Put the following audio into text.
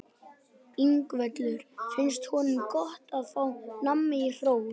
Ingveldur: Finnst honum gott að fá nammi og hrós?